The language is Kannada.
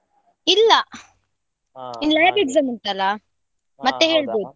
ಇಲ್ಲ lab exam ಉಂಟಲ್ಲ ಮತ್ತೆ ಹೇಳ್ಬೇಕು.